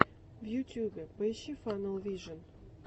в ютубе поищи фанэл вижен